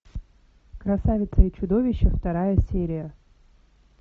красавица и чудовище вторая серия